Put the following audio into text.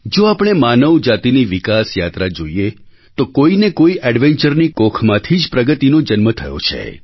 જો આપણે માનવ જાતિની વિકાસ યાત્રા જોઈએ તો કોઈ ને કોઈ adventureની કોખમાંથી જ પ્રગતિનો જન્મ થયો છે